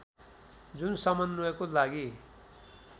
जुन समन्वयको लागि